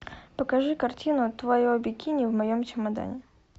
покажи картину твое бикини в моем чемодане